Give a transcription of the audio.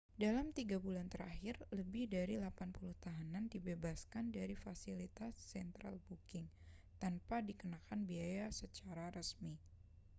dalam 3 bulan terakhir lebih dari 80 tahanan dibebaskan dari fasilitas central booking tanpa dikenakan biaya secara resmi